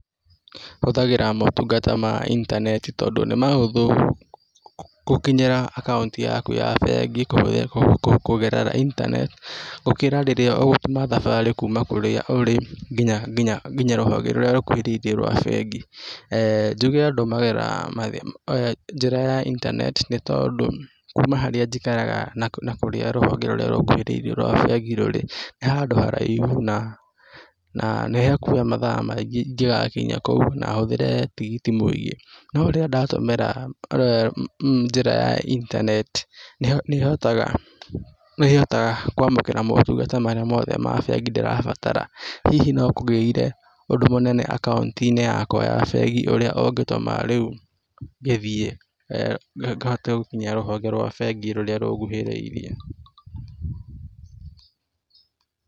Hũthagĩra motungata ma internet tondũ nĩ mahũthũ, gũkinyĩra akaunti yaku ya bengi kũgerera internet gũkĩra rĩrĩa ũgũtuma thabarĩ kuma kũrĩa ũri nginya rũhonge rũrĩa rũkuhĩrĩirie rwa bengi. Njuge ndũmagĩra njĩra ya internet t nĩ tondũ kuma harĩa njikaraga, na kũrĩa rũhonge rũrĩa rũnguhĩrĩirie rwa bengi rũrĩ, nĩ handũ haraihu, na nĩ hakuoya mathaa maingĩ ingĩgakinya kou na hũthĩre tigiti mũingĩ, no rĩrĩa ndatũmĩra njĩra ya internet nĩhotaga kwamũkĩra motungata marĩa mothe ma bengi ndĩrabatara. Hihi no kũgĩire ũndũ mũnene akaunti-inĩ yakwa ya bengi ũrĩa ũngĩtũma rĩu ngĩthiĩ, ngahote gũkinya rũhonge rwa bengi rũrĩa rũnguhĩrĩirie.